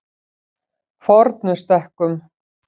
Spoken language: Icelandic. Fornustekkum